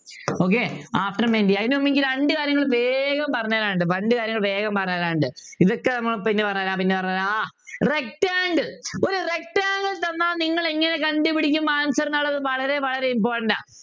Okay after മെൻറ്റി അതിനുമുമ്പ് എനിക്ക് രണ്ടു കാര്യങ്ങൾ വേഗം പറഞ്ഞ്തരാനുണ്ട് രണ്ടു കാര്യങ്ങൾ വേഗം പറഞ്ഞ്തരാനുണ്ട് ഇതൊക്കെ ഏർ പിന്നെ പറഞ്ഞു തരാം പിന്നെ പറഞ്ഞു തരാം ആഹ് rectangle ഒരു rectangle തന്നാൽ നിങ്ങൾ എങ്ങനെ കണ്ടുപിടിക്കും answer ന്നുള്ളത് വളരെ വളരെ important ആ